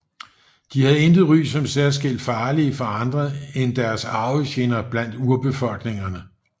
De havde intet ry som særskilt farlige for andre end deres arvefjender blandt urbefolkningerne